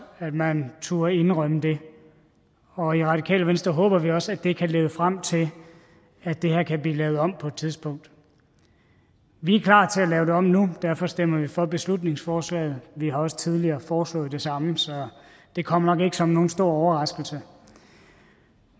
at man turde indrømme det og i radikale venstre håber vi også at det kan lede frem til at det her kan blive lavet om på et tidspunkt vi er klar til at lave det om nu derfor stemmer vi for beslutningsforslaget vi har også tidligere foreslået det samme så det kommer nok ikke som nogen stor overraskelse